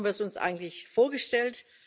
So haben wir es uns eigentlich vorgestellt.